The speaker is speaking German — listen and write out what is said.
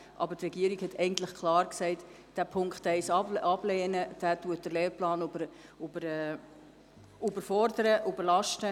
Aber die Regierung hat klar gesagt, der Punkt 1 sei abzulehnen, weil er den Lehrplan überlastet.